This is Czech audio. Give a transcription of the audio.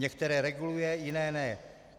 Některé reguluje, jiné ne.